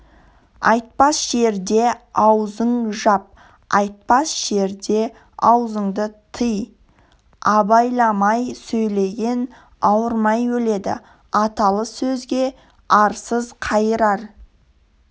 айтпас жерде аузың жап айтпас жерде аузыңды тый абайламай сөйлеген ауырмай өледі аталы сөзге арсыз қайырар